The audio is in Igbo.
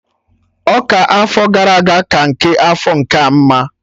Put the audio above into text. Ọka afọ gara aga ka nke afọ nkea mma